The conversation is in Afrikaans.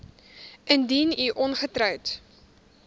indien u ongetroud